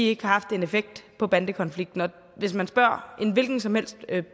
ikke har haft en effekt på bandekonflikten hvis man spørger en hvilken som helst